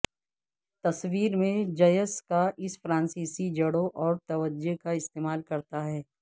تصویر میں جیسکا اس فرانسیسی جڑوں اور توجہ کا استعمال کرتا ہے